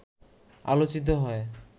আলোচিত হয়